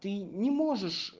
ты не можешь